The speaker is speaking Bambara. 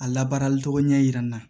A labaarali cogo ɲɛ yira n na